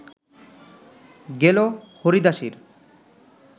গেল হরিদাসীর